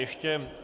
Ještě...